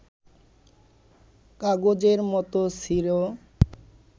কাগজের মতো ছিঁড়ো